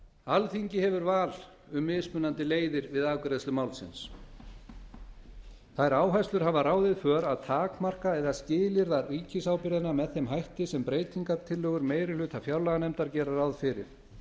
alþingi hefur val um mismunandi leiðir við afgreiðslu málsins þær áherslur hafa ráðið för að takmarka eða skilyrða ríkisábyrgðina með þeim hætti sem breytingartillögur meiri hluta fjárlaganefndar gera ráð fyrir